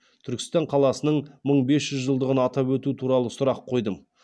түркістан қаласының мың бес жүз жылдығын атап өту туралы сұрақ қойдым